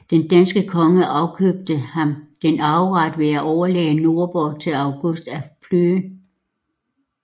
Den danske konge afkøbte ham denne arveret ved at overlade Nordborg til August af Plön